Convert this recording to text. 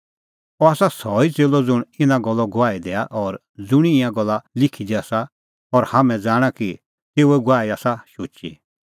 अह आसा सह ई च़ेल्लअ ज़ुंण इना गल्ले गवाही दैआ और ज़ुंणी ईंयां गल्ला लिखी दी आसा और हाम्हैं ज़ाणा कि तेऊए गवाही आसा शुची